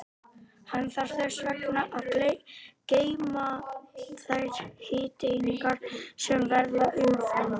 Hann þarf þess vegna að geyma þær hitaeiningar sem verða umfram.